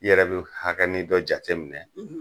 I yɛrɛ bi hakɛnin dɔ jateminɛ